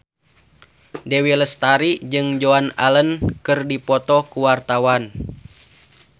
Dewi Lestari jeung Joan Allen keur dipoto ku wartawan